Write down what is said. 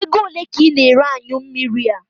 Ego ole ka ị na ere anyụ mmiri a?